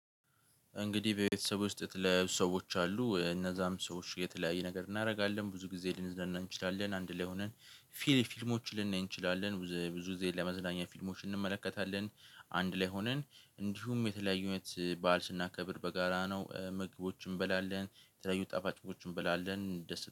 እንግዲህ በቤተሰብ ውስጥ የተለያየ ሰዎች አሉ እነዛም ሰዎች የተለያየ ነገር እናደርጋለን ብዙ ጊዜ ልንዝናና እንችላለን አንድ ላይ ሆነን ፊልም ፊልሞችን ልናይ እንችላለን ብዙ ጊዜ ለመዝናኛ ፊልሞች እንመለከታለን። አንድ ላይ ሆነን እንዲሁም የተለያዩነት በዓል ስናከብር በጋራ ነው ምግቦችን እንበላለን የተለያዩ ጠባጭቦችን እንበላለን።